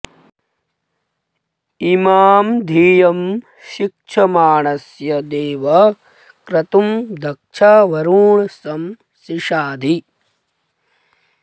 इ॒मां धियं॒ शिक्ष॑माणस्य देव॒ क्रतुं॒ दक्षं॑ वरुण॒ सं शि॑शाधि